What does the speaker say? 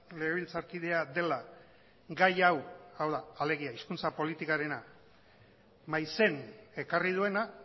legebiltzarkidea dela gai hau hau da alegia hizkuntza politikarena maizen ekarri duena